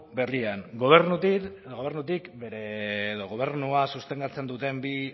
berrian gobernua sustengatzen duten bi